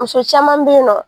Muso caman bɛ yen nɔ